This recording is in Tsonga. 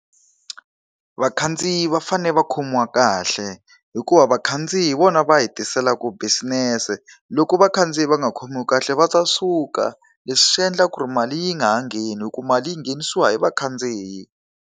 Vakhandziyi va fanele va khomiwa kahle hikuva vakhandziyi hi vona va hi tiselaka business. Loko vakhandziyi va nga khomiwi kahle va ta suka, leswi swi endla ku ri mali yi nga ha ngheni hikuva mali yi nghenisiwa hi vakhandziyi.